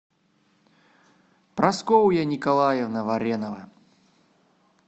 прасковья николаевна варенова